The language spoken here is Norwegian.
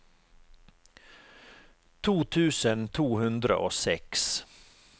to tusen to hundre og seks